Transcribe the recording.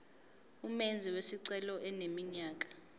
umenzi wesicelo eneminyaka